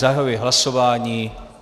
Zahajuji hlasování.